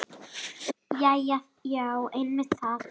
Jæja já, einmitt það.